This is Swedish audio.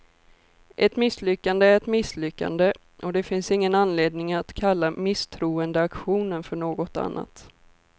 Ett misslyckande är ett misslyckande, och det finns ingen anledning att kalla misstroendeaktionen för något annat.